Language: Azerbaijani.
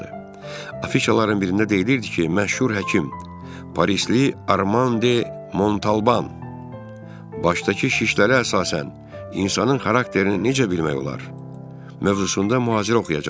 Afişaların birində deyilirdi ki, məşhur həkim, Parisli Armand de Montalban "Başdakı şişlərə əsasən insanın xarakterini necə bilmək olar?" mövzusunda mühazirə oxuyacaqdı.